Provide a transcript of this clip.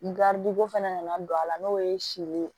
Garidi ko fana nana don a la n'o ye si ye